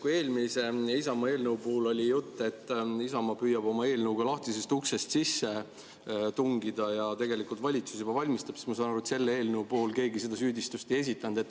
Kui eelmise Isamaa eelnõu puhul oli jutt, et Isamaa püüab oma eelnõuga lahtisest uksest sisse tungida ja tegelikult valitsus juba, siis ma saan aru, et selle eelnõu puhul keegi seda süüdistust ei esitanud.